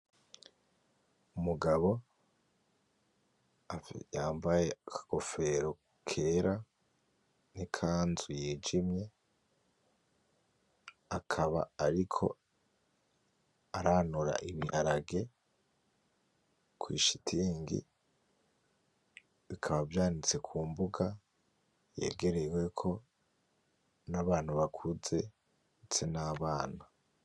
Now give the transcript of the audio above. Umugabo yambaye akagofero kera, nikanzu yijimye. akaba ariko aranura ibiharage kwishitingi, bikaba vyanitse kumbuga yegereweko n'abantu bakuze ndetse n'abana.